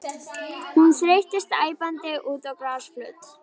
Hún þeyttist æpandi út á grasflöt.